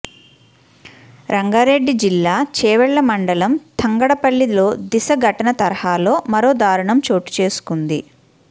రంగారెడ్డి జిల్లా చేవెళ్ల మండలం తంగడపల్లిలో దిశ ఘటన తరహాలో మరో దారుణం చోటు చేసుకుంది